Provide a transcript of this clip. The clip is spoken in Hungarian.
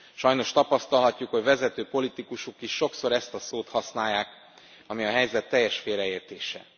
Sajnos tapasztalhatjuk, hogy vezető politikusok is sokszor ezt a szót használják, ami a helyzet teljes félreértése.